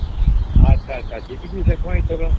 ଅଛ ଆଛା ଝିଟିକିରି ଦେଖବା ଏ ଥର